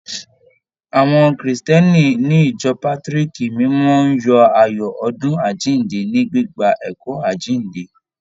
Àwọn Krìstìẹ́nì ní ìjọ Pátrìkì mímọ́ ń yọ ayọ̀ ọdún àjíǹde, ní gbígba ẹ̀kọ́ àjíǹde.